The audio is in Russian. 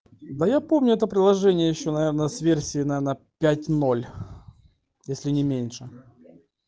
да я помню это приложение ещё наверное с версии наверно пять ноль если не меньше